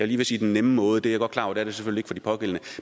ved at sige nemme måde jeg er godt klar over at det selvfølgelig for de pågældende